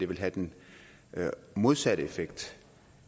vil have den modsatte effekt